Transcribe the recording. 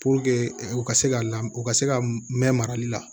u ka se ka la u ka se ka mɛn marali la